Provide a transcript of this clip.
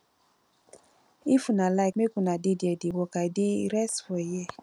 if una like make una dey there dey work i dey rest for here